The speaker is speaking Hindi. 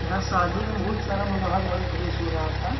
यहाँ शादी में बहुत सारा रहा था ।